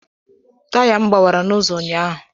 Taya m gbawara n'ụzọ ụnyaahụ